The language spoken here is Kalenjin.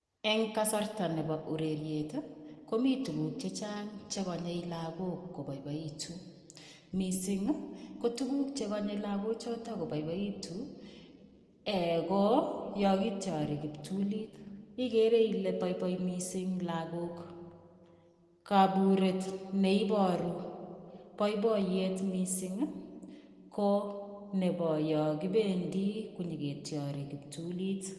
Eng kasarta nebo ureriet ii komiteen tuguuk chechaang chekanyei lagook kobaibaituun missing ii ko tuguuk che kanyei lagook chotoon kobaibaituun ii eeh ko yaan kituarii kiptuliit igere Ile baibai missing lagook ,kaburet neibaruu boiboiyet missing ii ko nebo yaan kibendii ko nyoketiari kiptuliit.